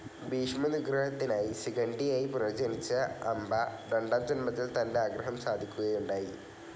ഭീഷ്മ നിഗ്രഹത്തിനായി ശിഖണ്ഡിയായി പുനർജ്ജനിച്ച അംബ രണ്ടാം ജന്മത്തിൽ തൻ്റെ ആഗ്രഹം സാധിക്കുകയുണ്ടായി